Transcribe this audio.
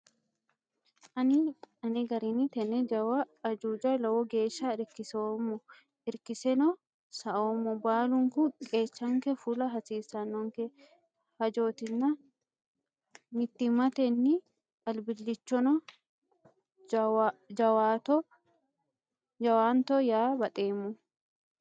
Ani ane garinni tene jawa ajuuja lowo geeshsha irkiseemmo irkiseno saoommo baallunku qeechanke fulla hasiisanonke hajotinna mittimmatenni albilchono jawaatto yaa baxeemmo.